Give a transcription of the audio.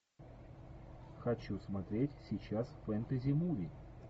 хочу смотреть сейчас фэнтези муви